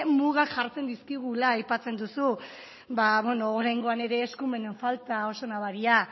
mugak jartzen dizkigula aipatzen duzu ba beno oraingoan ere eskumenen falta oso nabaria